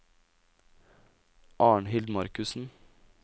Arnhild Markussen